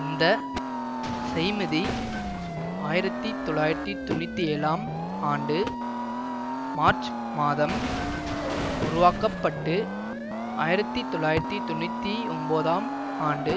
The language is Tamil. இந்த செய்மதி ஆயிரத்தி தொள்ளாயிரத்தி தொன்னூத்தி ஏழாம் ஆண்டு மார்ச் மாதம் உருவாக்க பட்டு ஆயிரத்தி தொள்ளாயிரத்தி தொன்னூத்தி ஒன்பதாம் ஆண்டு